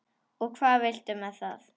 Og hvað viltu með það?